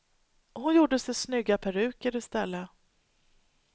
Hon gjorde sig snygga peruker i stället.